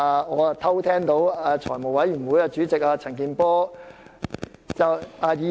我又偷聽到財務委員會主席陳健波議員說......